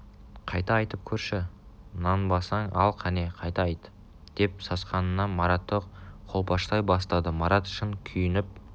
қайта айтып көрші нанбасаң ал қане қайта айт деп сасқанынан маратты қолпаштай бастады марат шын күйініп